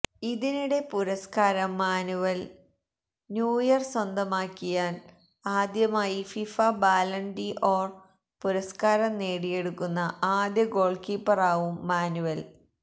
ഇതിനിടെ പുരസ്കാരം Manuel Neuer സ്വന്തമാക്കിയാല് ആദ്യമായി ഫിഫ ബാലണ് ഡി ഓര് പുരസ്കാരം നേടിയെടുക്കുന്ന ആദ്യ ഗോള്കീപ്പറാകും മാനുവല്